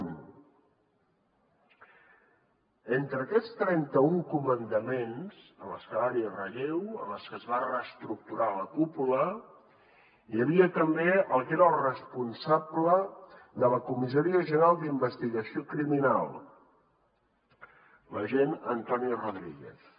entre aquests trenta un comandaments en els que hi va haver relleu en els que es va reestructurar la cúpula hi havia també el que era el responsable de la comissaria general d’investigació criminal l’agent antonio rodríguez